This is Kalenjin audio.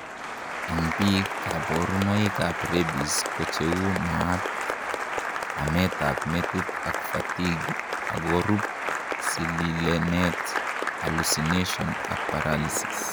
en biik, kaborunoik ab rabies kocheu maat, amet ab metit ak fatigue, akorub sililenet hallucinations ak paralysis